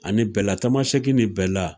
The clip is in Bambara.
Ani bɛla tamasɛki ni bɛla